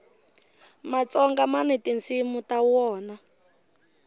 matsonga mani tinsimu ta wona